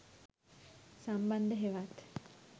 සම්බන්ධ හෙවත්